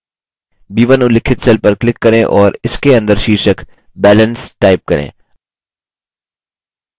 b1 उल्लिखित cell पर click करें और इसके अंदर शीर्षक balance type करें